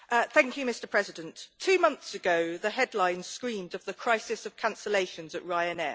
Mr President, two months ago the headlines screamed of the crisis of cancellations at Ryanair.